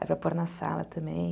Aí para pôr na sala também.